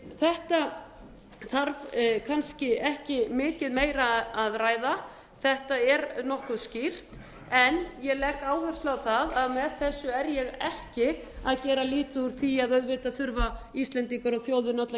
þetta þarf kannski ekki mikið meira að ræða þetta er nokkuð skýrt ég legg áherslu á það að með þessu er ég ekki að gera lítið úr því að auðvitað þurfa íslendingar og þjóðin öll að